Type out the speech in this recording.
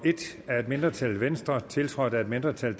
af et mindretal mindretal tiltrådt af et mindretal